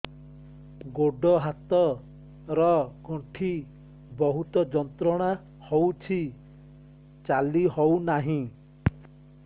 ଗୋଡ଼ ହାତ ର ଗଣ୍ଠି ବହୁତ ଯନ୍ତ୍ରଣା ହଉଛି ଚାଲି ହଉନାହିଁ